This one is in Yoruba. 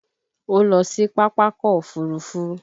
Ó lọ sí Pápákọ̀ Òfurufú